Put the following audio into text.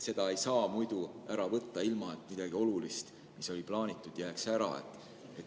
Seda ei saa muudmoodi ära võtta, kui et midagi olulist, mis oli plaanitud, ära jääb.